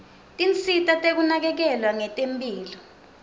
tinsita tekunakekelwa ngetemphilo